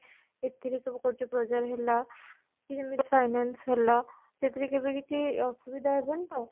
ଏଥିରେ ସବୁ କରୁଛେ ହେଲା କି ଯେମିତି finance ହେଲା ସେଥିରେ କେବେ କିଛି ଅସୁବିଧା ହବନି ତ ?